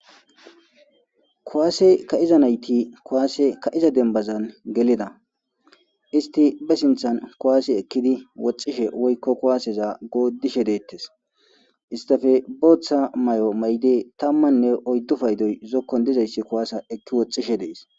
Kuwase ka'iza nayt kuwase ka'iza demban gelida ist be sinthan kuwase ekid woxishe woyko kuwaseza godishe detes. Istappe bootha mayo mayid 14 paydoy zikon dizays kuwasa eko woxishe Des.